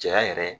Cɛya yɛrɛ